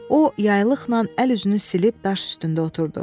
O yaylıqla əl-üzünü silib daş üstündə oturdu.